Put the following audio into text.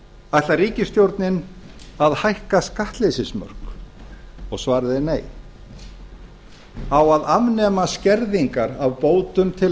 ætlar ríkisstjórnin að hækka skattleysismörk svarið er nei á að afnema skerðingar á bótum til